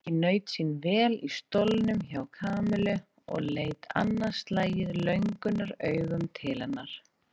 Nikki naut sín vel í stólnum hjá Kamillu og leit annað slagið löngunaraugum til hennar.